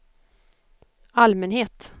allmänhet